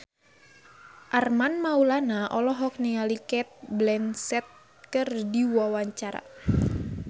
Armand Maulana olohok ningali Cate Blanchett keur diwawancara